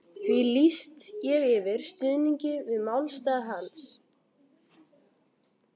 því lýsti ég yfir stuðningi við málstað hans.